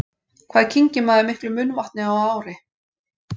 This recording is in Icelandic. Hvað kyngir maður miklu munnvatni á ári?